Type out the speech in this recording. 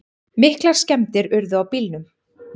Miklar skemmdir urðu á bílunum